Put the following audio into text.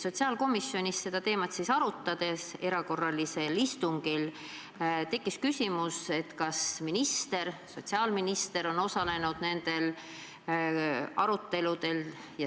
Sotsiaalkomisjonis erakorralisel istungil seda teemat arutades tekkis küsimus, kas sotsiaalminister on nendel aruteludel osalenud.